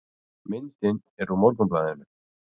Myndin er úr Morgunblaðinu